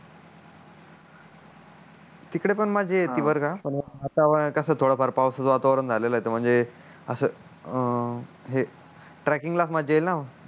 तिकड पण मज्जा येती बर का पण ही वातावरण कस पवसच वातावरण झालेल आहे तर कस ही ट्रॅकिंग ला मज्जा येईल ना